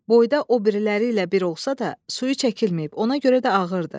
Boyda o biriləri ilə bir olsa da, suyu çəkilməyib, ona görə də ağırdır.